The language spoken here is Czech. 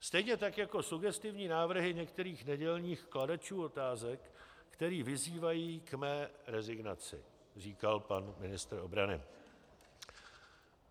Stejně tak jako sugestivní návrhy některých nedělních kladečů otázek, kteří vyzývají k mé rezignaci, říkal pan ministr obrany.